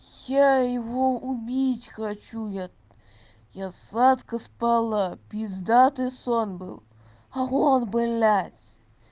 я его убить хочу я я сладко спала пиздатый сон был а он блять